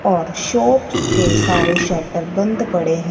और शॉप के सारे शटर बंद पड़े हैं।